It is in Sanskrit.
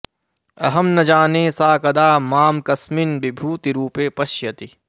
अहं न जाने सा कदा मां कस्मिन् विभूतिरूपे पश्यति